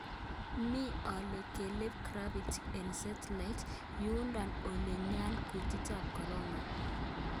Me ole keleb gravity eng Seattle , yundo ole nyaany kutik ab korona